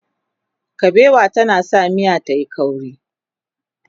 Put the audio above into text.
kabewa tana sa miya tayi ƙauri